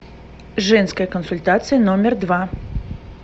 женская консультация номер два